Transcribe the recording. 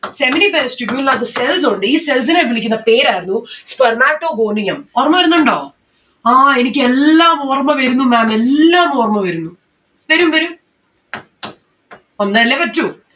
seminiferous tubule ന് അകത്ത് cells ഉണ്ട് ഈ cells നെ വിളിക്കുന്ന പേരായിരുന്നു spermatogonium ഓർമ്മവരുന്നുണ്ടോ? ആ എനിക്ക് എല്ലാം ഓർമ്മ വരുന്നു ma'am എല്ലാം ഓർമ്മ വരുന്നു. വരും വരും. വന്നെല്ലേ പറ്റു